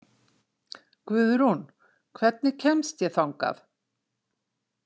Guðrún, hvernig kemst ég þangað?